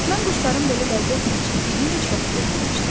Mən quşların belə ləzzətlə çimdiyi heç vaxt görməmişdim.